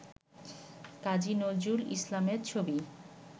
কাজী নজরুল ইসলামের ছবি